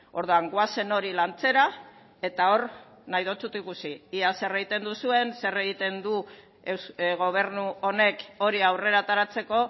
orduan goazen hori lantzera eta hor nahi zaitut ikusi ea zer egiten duzuen zer egiten duen gobernu honek hori aurrera ateratzeko